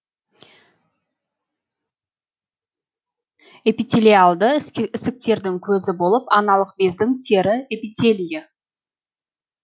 эпителиалды ісіктердің көзі болып аналық бездің тері эпителиі